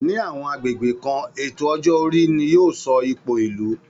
Ní àwọn agbègbè kan, ètò ọjọ́ orí ni yóò sọ ipò ìlú